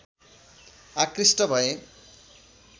आकृष्ट भए